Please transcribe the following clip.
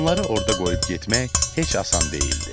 Onları orada qoyub getmək heç asan deyildi.